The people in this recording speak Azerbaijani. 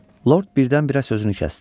Lord birdən-birə sözünü kəsdi.